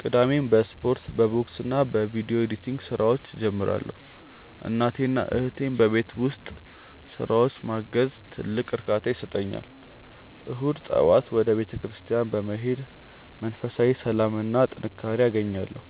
ቅዳሜን በስፖርት፣ በቦክስና በቪዲዮ ኤዲቲንግ ስራዎች እጀምራለሁ። እናቴንና እህቴን በቤት ውስጥ ስራዎች ማገዝም ትልቅ እርካታ ይሰጠኛል። እሁድ ጠዋት ወደ ቤተክርስቲያን በመሄድ መንፈሳዊ ሰላምና ጥንካሬ አገኛለሁ፤